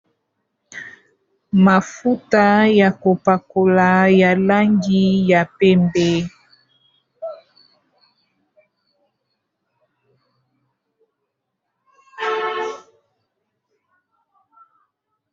Mafuta ya kopakola ya langi ya pembe.